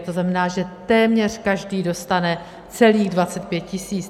To znamená, že téměř každý dostane celých 25 tisíc.